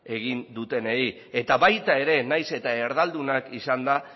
egin dutenei eta baita ere nahiz eta erdaldunak izanda